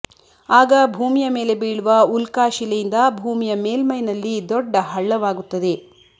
ಆಗ ಭೂಮಿಯ ಮೇಲೆ ಬೀಳುವ ಉಲ್ಕಾಶಿಲೆಯಿಂದ ಭೂಮಿಯ ಮೇಲ್ಮೈನಲ್ಲಿ ದೊಡ್ಡ ಹಳ್ಳವಾಗುತ್ತದೆ